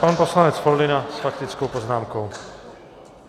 Pan poslanec Foldyna s faktickou poznámkou.